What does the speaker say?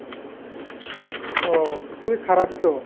ও খুবই খারাপ তো ।